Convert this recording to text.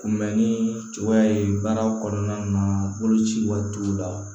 Kunbɛnni cogoya ye baara kɔnɔna na boloci waati t'u la